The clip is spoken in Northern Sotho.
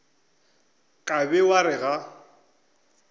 ka be wa re ga